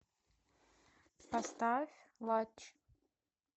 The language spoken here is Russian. поставь латч